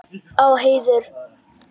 Á heiður.